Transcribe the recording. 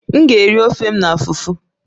M ga-eri ofe m na fufu